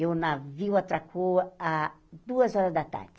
E o navio atracou às duas horas da tarde.